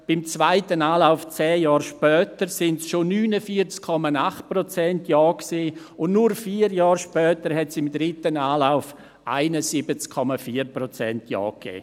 Beim zweiten Anlauf, knapp zehn Jahre später, waren es schon 49,8 Prozent Ja und nur vier Jahre später gab es im dritten Anlauf 71,4 Prozent Ja.